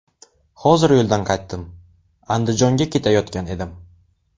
Hozir yo‘ldan qaytdim, Andijonga ketayotgan edim.